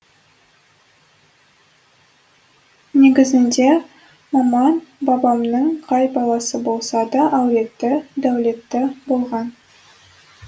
негізінде маман бабамның қай баласы болса да әулетті дәулетті болған